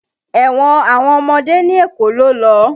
Ẹ̀wọ̀n àwọn ọmọdé ní Èkó ló lọ.